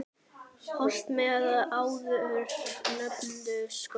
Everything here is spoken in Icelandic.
Holt menn áður nefndu skóg.